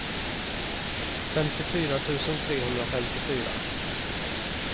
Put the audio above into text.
femtiofyra tusen trehundrafemtiofyra